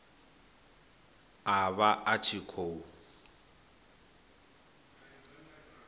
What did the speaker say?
a vha a tshi khou